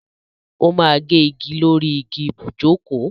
O ma gé igi lórí igi ibùjókòó.